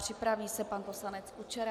Připraví se pan poslanec Kučera.